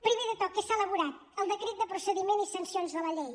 primer de tot què s’ha elaborat el decret de procediment i sancions de la llei